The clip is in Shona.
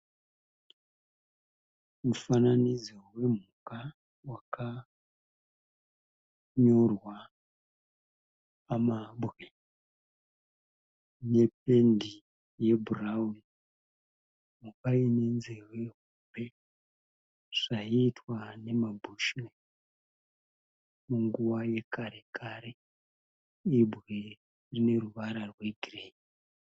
Mufananidzo wemhuka wakanyorwa pamabwe nependi ye bhurawuni. Mhuka ine nzeve hombe zvaiitwa nema(bushman) munguva yekare kare. Ibwe rine ruvara rwegireyi.